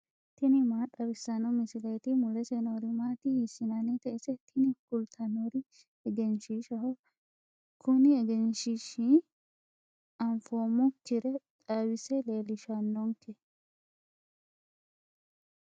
tini maa xawissanno misileeti ? mulese noori maati ? hiissinannite ise ? tini kultannori egenshiishshaho. kuni egenshiishshi anfoommokkire xawise leellishannonke.